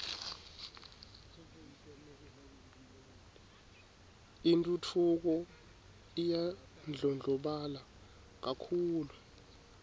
intfutfuko iyandlondlobala kakhulu